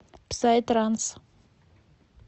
псай транс